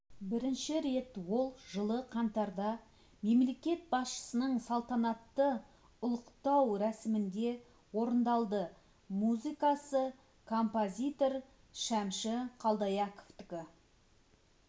бірінші рет ол жылы қаңтарда мемлекет басшысының салтанатты ұлықтау рәсімінде орындалды музыкасы композитор шәмші қалдаяқовтікі